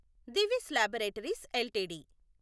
Divi's laboratories LTD